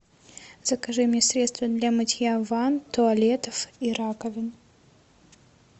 закажи мне средство для мытья ванн туалетов и раковин